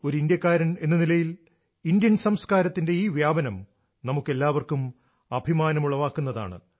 ഒരു ഇന്ത്യക്കാരനെന്ന നിലയിൽ ഇന്ത്യൻ സംസ്കാരത്തിന്റെ ഈ വ്യാപനം നമുക്കെല്ലാവർക്കും അഭിമാനമുളവാക്കുന്നതാണ്